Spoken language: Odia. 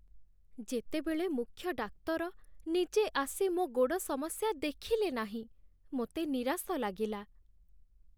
ଯେତେବେଳେ ମୁଖ୍ୟ ଡାକ୍ତର ନିଜେ ଆସି ମୋ ଗୋଡ଼ ସମସ୍ୟା ଦେଖିଲେ ନାହିଁ, ମୋତେ ନିରାଶ ଲାଗିଲା।